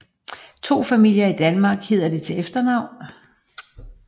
To familier i Danmark hedder det til efternavn